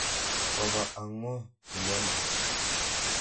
Kopa ak ng'o inendet?